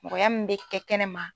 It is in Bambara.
Mɔgɔya min bɛ kɛ kɛnɛma